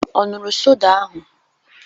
Ọ ṅụrụ soda ahụ?